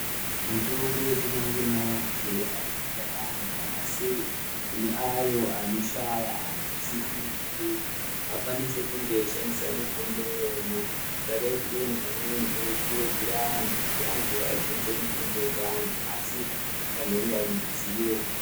Mitombo yechi manje manje yaka naka yambo asi kune ayo ano shaya anhu asina mari akwanise kune eyi shandisa mitombo iyona sakei kubei pamweni pamweni tino kurudzira antu kuti ashandise mitombo ye chi antu asi ano fanirwe kunge ane ruzivo.